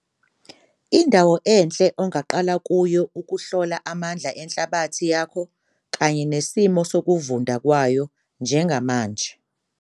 Indawo enhle ongaqala kuyo ukuhlola amandla enhlabathi yakho kanye nesimo sokuvunda kwayo njengamanje.